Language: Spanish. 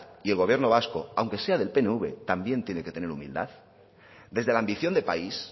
y el gobierno vasco aunque sea del pnv también tiene que tener humildad desde la ambición de país